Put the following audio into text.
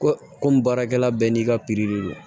Ko komi baarakɛla bɛɛ n'i ka de don